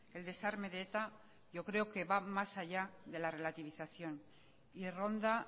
el desarme de eta yo creo que va más allá de la relativilización y ronda